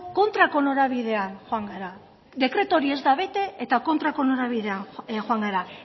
kontrako norabidean joan gara dekretu hori ez da bete eta kontrako norabidean joan gara